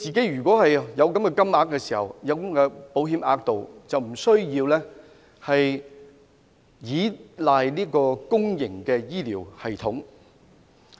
如果他可以使用保險額度，便無須依賴公營醫療系統。